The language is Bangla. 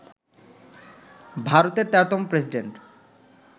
ভারতের ১৩তম প্রেসিডেন্ট